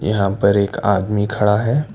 यहां पर एक आदमी खड़ा है।